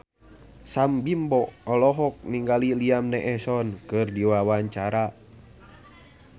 Sam Bimbo olohok ningali Liam Neeson keur diwawancara